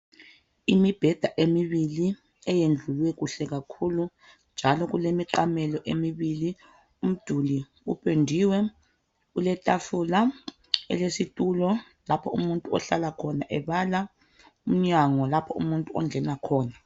Imibheda emibili eyendlulwe kuhle kakhulu njalo kulemiqamelo emibili. Umduli upendiwe, kuletafula lesitulo lapho umuntu ohlala khona ebala. Umnyango lapho umuntu ongena khona.